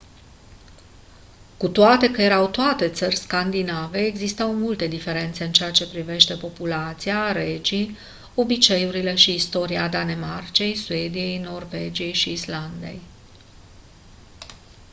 cu toate că erau toate țări scandinave existau multe diferențe în ceea ce privește populația regii obiceiurile și istoria danemarcei suediei norvegiei și islandei